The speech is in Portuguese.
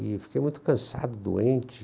E fiquei muito cansado, doente,